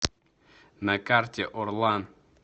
на карте орлан